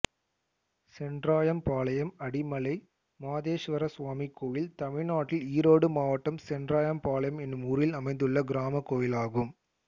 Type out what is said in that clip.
சென்றாயம்பாளையம் அடிமலை மாதேஸ்வரசுவாமி கோயில் தமிழ்நாட்டில் ஈரோடு மாவட்டம் சென்றாயம்பாளையம் என்னும் ஊரில் அமைந்துள்ள கிராமக் கோயிலாகும்